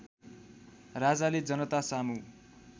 राजाले जनतासामु